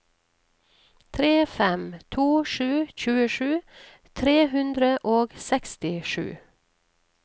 tre fem to sju tjuesju tre hundre og sekstisju